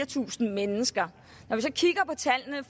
tusind mennesker